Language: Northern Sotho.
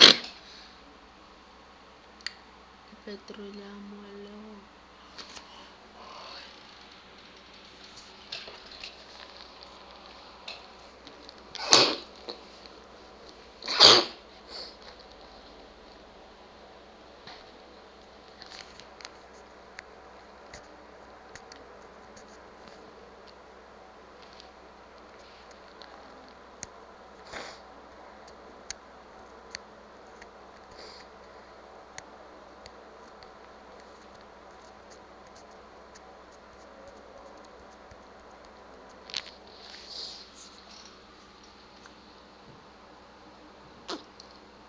le petroliamo le go